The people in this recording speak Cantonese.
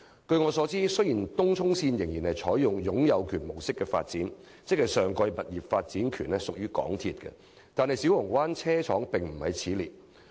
據我所知，雖然東涌線仍採用擁有權模式發展，即上蓋物業的發展權屬港鐵公司所有，但小蠔灣車廠不在此列。